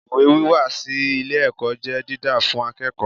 Ìwé wíwá sí ilé ẹ̀kọ́ jẹ́ didan fún akẹ́kọ̀ọ́.